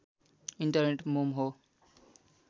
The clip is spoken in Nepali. इन्टरनेट मेम हो